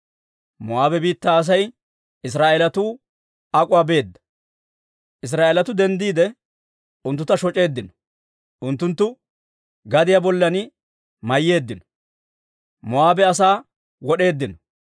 Moo'aabe biittaa Asay Israa'eelatuu ak'uwaa beedda; Israa'eelatuu denddiide, unttuntta shoc'eeddino. Unttunttu gadiyaa bollan mayyeeddino; Moo'aabe asaa wod'eeddino.